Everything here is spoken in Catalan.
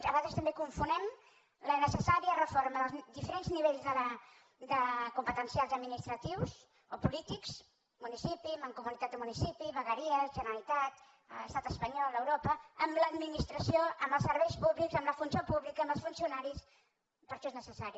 a vegades també confonem la necessària reforma dels diferents nivells competencials administratius o polítics municipi mancomunitat de municipis vegueries generalitat estat espanyol europa amb l’administració amb els serveis públics amb la funció pública amb els funci·onaris per això és necessari